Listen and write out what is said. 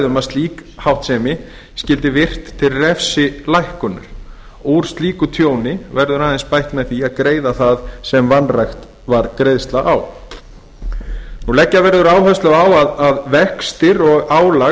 um að slík háttsemi skyldi virt til refsilækkunar úr slíku tjóni verður aðeins bætt með því að greiða það sem vanrækt var að greiða leggja verður áherslu á að vextir og álag